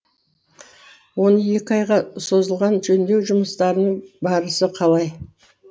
он екі айға созылған жөндеу жұмыстарының барысы қалай